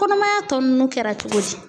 Kɔnɔmaya tɔ ninnu kɛra cogo di?